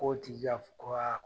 Kɔ tɛ ja